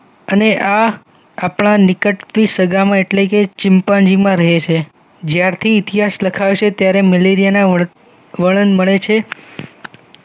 અને આ અપણા નિકટથી સગામાં એટલે કે ચિમ્પાન્જીમાં રહે છે જ્યાર થી ઇતિહાસ લખાશે ત્યારે મેલેરિયાના વર્ણન મળે છે